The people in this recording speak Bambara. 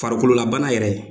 Farikolo la bana yɛrɛ